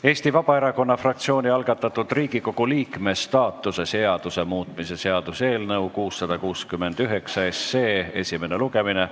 Eesti Vabaerakonna fraktsiooni algatatud Riigikogu liikme staatuse seaduse muutmise seaduse eelnõu esimene lugemine.